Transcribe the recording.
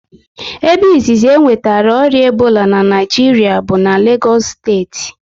Ebe izizi e nwetara ọrịa Ebola na Naịjiria bụ na Legos steeti